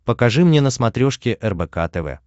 покажи мне на смотрешке рбк тв